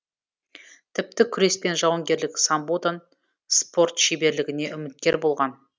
тіпті күрес пен жауынгерлік самбодан спорт шеберлігіне үміткер болған